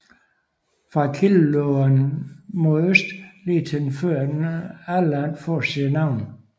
Fra kilden løber den mod øst til den lige før Alland får sit navn